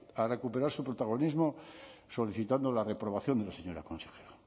a recuperar su protagonismo solicitando la reprobación de la señora consejera